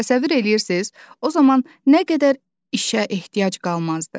Təsəvvür eləyirsiz, o zaman nə qədər işə ehtiyac qalmazdı.